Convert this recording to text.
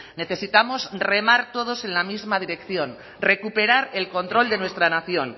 necesitamos remar todos en la misma dirección recuperar el control de nuestra nación